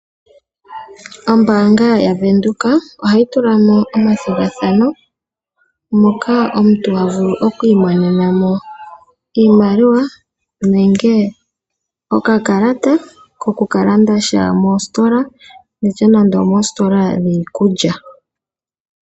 Ombaanga yavenduka ohayi tulamo omathigathano, moka omuntu havulu okwiimonena mo iimaliwa, nenge okakalata koku kalandasha mositola, ngaashi moositola dhiikulya.